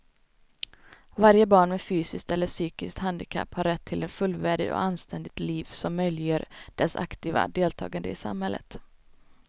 Varje barn med fysiskt eller psykiskt handikapp har rätt till ett fullvärdigt och anständigt liv som möjliggör dess aktiva deltagande i samhället.